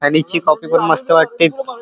हनी ची काॅफी पण मस्त वाटते.